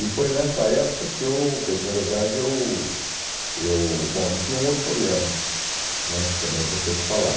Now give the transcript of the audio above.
E foi nessa época que eu, quer dizer, na verdade, eu eu... Bom, e tinha um outro problema né, que também é importante falar.